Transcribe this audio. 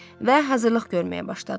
Və hazırlıq görməyə başladılar.